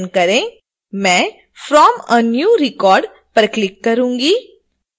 मैं from a new empty record पर click करुँगी